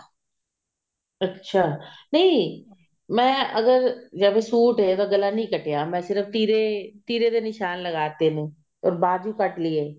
ਅੱਛਾ ਨਹੀਂ ਮੈਂ ਅਗਰ ਜਾਂ ਫ਼ੇਰ ਸੂਟ ਹੈ ਉਹਦਾ ਗਲਾ ਨੀ ਕੱਟਿਆ ਸਿਰਫ ਤਿਰੇ ਤਿਰੇ ਦੇ ਨਿਸ਼ਾਨ ਲਗਾਤੇ ਨੇ or ਬਾਜੂ ਕੱਟਲੀ ਹੈ